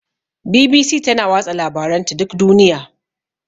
BBC tana watsa labaranta duk duniya.